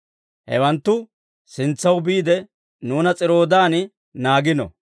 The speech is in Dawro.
Hewanttu sintsaw biide, nuuna S'iro'aadan naagiino.